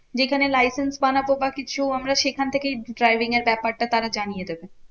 যেখানে licence বানাবো বা কিছু আমরা সেখান থেকেই driving এর ব্যাপারটা তারা জানিয়ে দেবে?